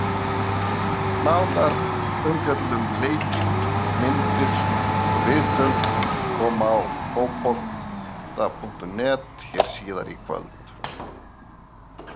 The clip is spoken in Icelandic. Nánari umfjöllun um leikinn, myndir og viðtöl koma á Fótbolta.net hér síðar í kvöld.